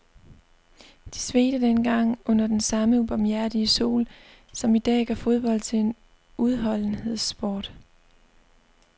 De svedte dengang under den samme ubarmhjertige sol, som i dag gør fodbold til en udholdenhedssport.